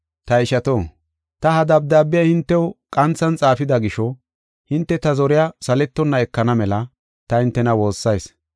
Ta ishato, ta ha dabdaabiya hintew qanthan xaafida gisho, hinte ta zoriya saletonna ekana mela ta hintena woossayis.